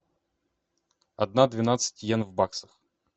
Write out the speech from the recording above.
одна двенадцать йен в баксах